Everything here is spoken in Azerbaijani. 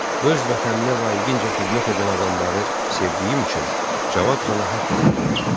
Öz vətəninə layiqincə xidmət edən adamları sevdiyim üçün Cavad xana haqq qazandırıram.